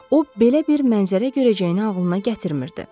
O belə bir mənzərə görəcəyini ağlına gətirmirdi.